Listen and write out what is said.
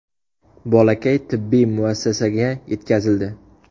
Bolakay tibbiy muassasaga yetkazildi.